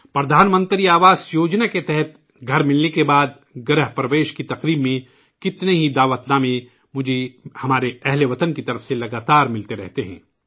'پردھان منتری آواس یوجنا' کے تحت گھر ملنے کے بعد گرہ پرویش کی تقریب میں کتنی ہی دعوت مجھے اپنے وطنوں کی جانب سے لگاتار ملتے رہتے ہیں